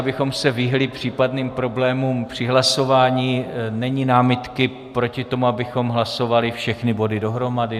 Abychom se vyhnuli případným problémům při hlasování, není námitky proti tomu, abychom hlasovali všechny body dohromady?